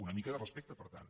una mica de respecte per tant